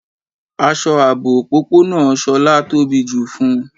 Aṣọ aabò ọ̀pọ̀pọ̀nà Shọla tóbí ju fún.